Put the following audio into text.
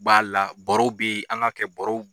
U b'a la boro be yen, an ka kɛ borow